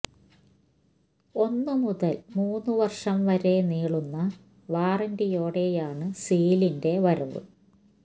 ഒന്നു മുതൽ മൂന്നു വർഷം വരെ നീളുന്ന വാറന്റിയോടെയാണ് സീലിന്റെ വരവ്